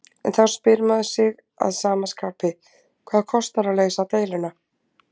En þá spyr maður sig að sama skapi, hvað kostar að leysa deiluna?